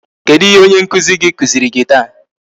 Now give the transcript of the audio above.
Kedụ ihe onye nkụzi gị kụziri gị taa?